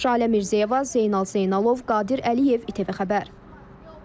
Şalə Mirzəyeva, Zeynal Zeynalov, Qadir Əliyev ITV xəbər.